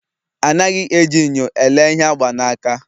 Anaghị eji nyo elee ihe agba n'aka